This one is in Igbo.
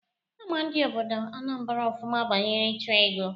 Ama ndị obodo Anambra ofụma banyere ịchụ ego.